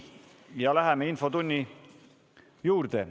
Läheme infotunni juurde.